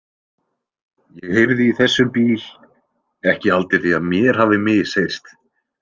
Ég heyrði í þessum bíl, ekki haldið þið að mér hafi misheyrst?